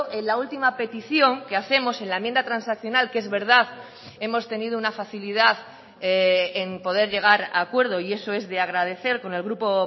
en la última petición que hacemos en la enmienda transaccional que es verdad hemos tenido una facilidad en poder llegar a acuerdo y eso es de agradecer con el grupo